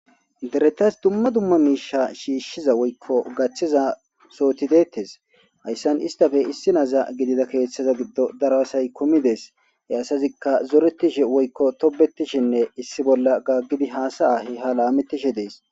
Deretas duma duma misha shishida woyiko gatiza sohoti detees hayisan istappe issi na,a gidiza kethaza gidon daro asayi kumides he asazika zoretishe woyiko tobetishenne issi bolla gagidi hasaya lametishe dees